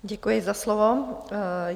Děkuji za slovo.